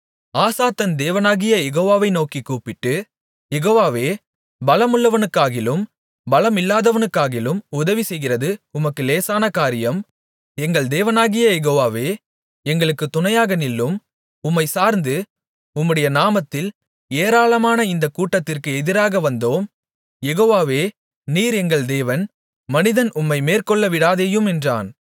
ஆசா தன் தேவனாகிய யெகோவாவை நோக்கிக் கூப்பிட்டு யெகோவாவே பலமுள்ளவனுக்காகிலும் பலமில்லாதவனுக்காகிலும் உதவிசெய்கிறது உமக்கு லேசான காரியம் எங்கள் தேவனாகிய யெகோவாவே எங்களுக்குத் துணையாக நில்லும் உம்மைச் சார்ந்து உம்முடைய நாமத்தில் ஏராளமான இந்தக் கூட்டத்திற்கு எதிராக வந்தோம் யெகோவாவே நீர் எங்கள் தேவன் மனிதன் உம்மை மேற்கொள்ளவிடாதேயும் என்றான்